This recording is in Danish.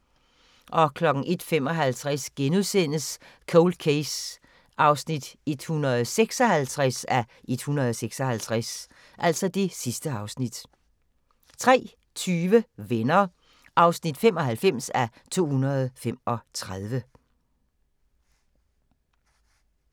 01:55: Cold Case (156:156)* 03:20: Venner (95:235)